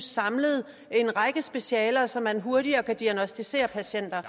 samlet en række specialer så man hurtigere kan diagnosticere patienter